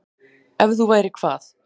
Ef þú værir hvað?